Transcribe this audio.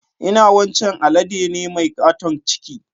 Inna wancan alade ne mai katon ciki.